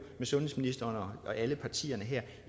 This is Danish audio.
med sundhedsministeren og alle partierne her